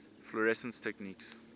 fluorescence techniques